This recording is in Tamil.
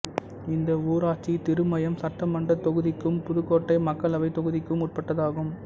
இந்த ஊராட்சி திருமயம் சட்டமன்றத் தொகுதிக்கும் புதுக்கோட்டை மக்களவைத் தொகுதிக்கும் உட்பட்டதாகும்